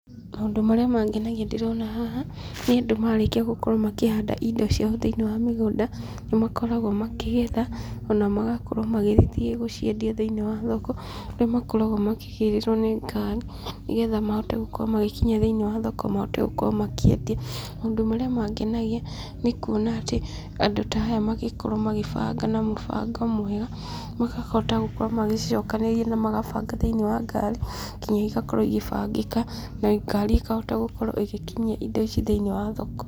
Maũndũ marĩa mangenagia ndĩrona haha, nĩ andũ marĩkia gũkorwo makĩhanda indo ciao thĩinĩ wa mĩgũnda, nĩ makoragwo makĩgetha, ona magakorwo magĩgĩthiĩ gũciendia thĩinĩ wa thoko, kũrĩa makoraga makĩgĩrĩrwo nĩ ngari, nĩgetha mahote gũkorwo magĩkinyia thĩinĩ wa thoko mahote gũkorwo makĩendia, maũndũ marĩa mangenagia nĩ kuona atĩ andũ ta aya magĩkorwo magĩbanga na mũbango mwega, makahota gũkorwo magĩcicokanĩrĩria na magabanga thĩinĩ wa ngaari, nginya igakorwo igĩbangĩka na ngari ĩkahota gũkorwo ĩgĩkinyia indo ici thĩinĩ wa thoko.